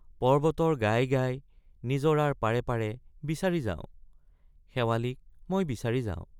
পৰ্ব্বতৰ গায় গায় নিজৰাৰ পাৰে পাৰে—বিচাৰি যাওঁ—শেৱালিক মই বিচাৰি যাওঁ।